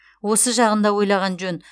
осы жағын да ойлаған жөн